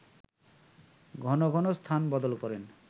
ঘন ঘন স্থান বদল করেন